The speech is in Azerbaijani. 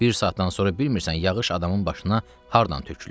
Bir saatdan sonra bilmirsən yağış adamın başına hardan tökülür.